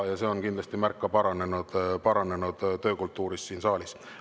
See on kindlasti märk paranenud töökultuurist siin saalis.